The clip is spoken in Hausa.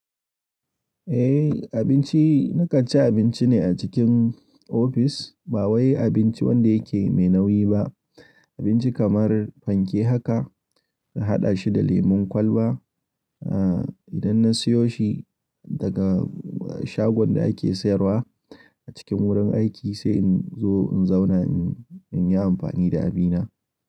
Eh abinci na kan ci abinci ne a cikin ofis. Ba wai abinci wanda yake mai nauyi ba. Abinci kamar fanke haka na haɗa shi da lemon kwalba. Ah idan na siyo shi daga shagon da ake sayarwa a cikin wurin aiki sai in zo in zauna in yi amfani da abina.